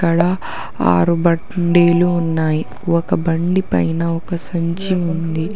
అక్కడ ఆరు బండీలు ఉన్నాయి ఒక బండి పైన ఒక సంచి ఉంది.